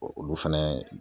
Bɔn olu fɛnɛ